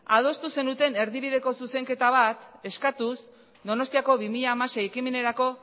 adostu zenuten erdibideko zuzenketa bat eskatuz donostiako bi mila hamasei ekimenerako